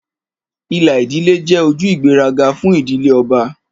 Ìlà ìdílé jẹ́ ojú ìgbéraga fún ìdílé ọba,